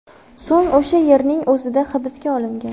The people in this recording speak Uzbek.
So‘ng o‘sha yerning o‘zida hibsga olingan.